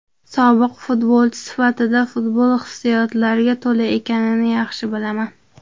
Sobiq futbolchi sifatida futbol hissiyotlarga to‘la ekanini yaxshi bilaman.